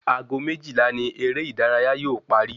Ago méjìlá ni eré ìdárayá yóò parí